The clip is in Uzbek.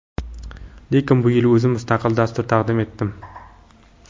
Lekin bu yil o‘zim mustaqil dastur taqdim etdim.